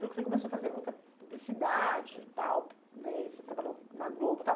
falou que você começou a fazer muita publicidade e tal, né, e você trabalhou na Globo, tal.